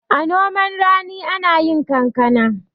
a noman rani ana yi kankana